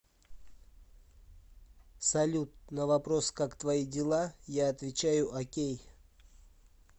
салют на вопрос как твои дела я отвечаю окей